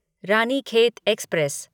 Ranikhet express